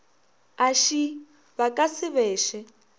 ašii ba ka se beše